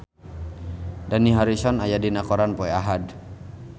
Dani Harrison aya dina koran poe Ahad